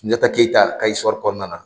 Sunjata Keyita ka kɔnɔna na.